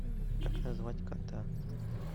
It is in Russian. как назвать кота